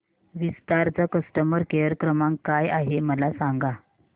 विस्तार चा customer care क्रमांक काय आहे मला सांगा